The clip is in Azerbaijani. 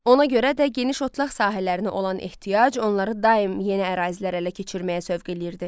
Ona görə də geniş otlaq sahələrinə olan ehtiyac onları daim yeni ərazilərə ələ keçirməyə sövq eləyirdi.